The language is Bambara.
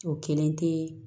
O kelen tɛ